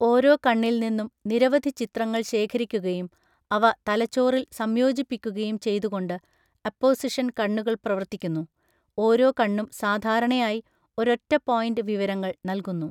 ഓരോ കണ്ണിൽ നിന്നും നിരവധി ചിത്രങ്ങൾ ശേഖരിക്കുകയും അവ തലച്ചോറിൽ സംയോജിപ്പിക്കുകയും ചെയ്തുകൊണ്ട് അപ്പോസിഷൻ കണ്ണുകൾ പ്രവർത്തിക്കുന്നു, ഓരോ കണ്ണും സാധാരണയായി ഒരൊറ്റ പോയിൻ്റ് വിവരങ്ങൾ നൽകുന്നു.